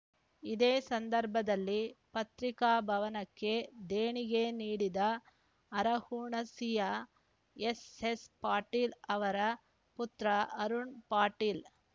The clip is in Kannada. ಇದೇ ಸಂದರ್ಭದಲ್ಲಿ ಪತ್ರಿಕಾಭವನಕ್ಕೆ ದೇಣಿಗೆ ನೀಡಿದ ಅರಹುಣಸಿಯ ಎಸ್ಎಸ್ಪಾಟೀಲ ಅವರ ಪುತ್ರ ಅರುಣ ಪಾಟೀಲ